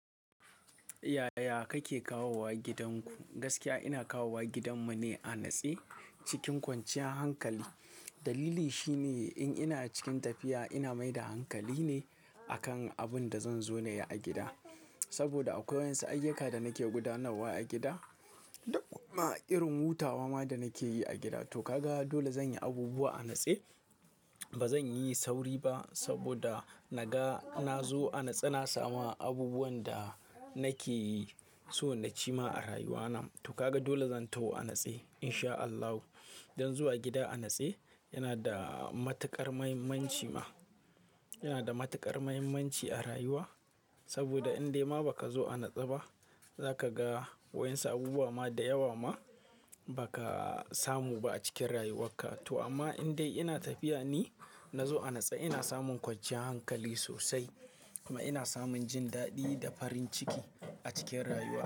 Yaya kake kawowa gidanku? Gaskiya ina kawowa gidanmu ne a natse cikin kwanciyan hankali. Dalili shine in ina cikin tafiya, ina mai da hankali ne a kan abin da zan zo na yi a gida. Saboda akwai wa'yansu ayyuka da nake gudanarwa a gida da kuma irin hutawa ma da nake yi a gida. To ka ga dole zan yi abubuwa a natse. Ba zan yi sauri ba saboda naga na zo a natse, na sama abubuwan da nake so na ci ma a rayuwana. To ka ga dole zan taho a natse in sha Allah. Don zuwa gida a natse yana da matuƙar muhimmanci ma. Yana da matuƙar muhimmanci a rayuwa saboda in dai ma ba ka zo a natse ba, za ka ga wa'yansu abubuwa ma da yawa ma ba ka samu ba a cikin rayuwarka. To amma in dai ina tafiya ne, na zo a natse ina samun kwanciyar hankali sosai kuma ina samun jin daɗi da farin ciki a cikin rayuwa.